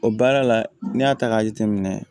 O baara la n'i y'a ta k'a jateminɛ